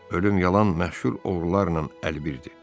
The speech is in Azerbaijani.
Ölüm yalan məşhur oğrularla əlbir idi.